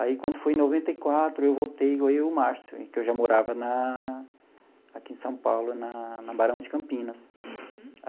Aí, quando foi em noventa e quatro, eu voltei, eu e o Márcio, que eu já morava na aqui em São Paulo, na na Barão de Campinas.